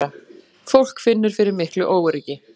Fólk finnur fyrir miklu óöryggi